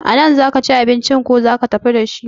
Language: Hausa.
A nan za ki ci abincin ko za ki tafi dashi?